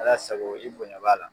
Ala sago i bonya b'a la